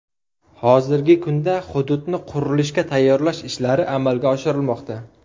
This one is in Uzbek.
Hozirgi kunda hududni qurilishga tayyorlash ishlari amalga oshirilmoqda.